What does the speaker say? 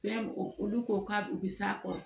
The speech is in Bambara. Fɛn o olu ko k'a u bi s'a kɔrɔ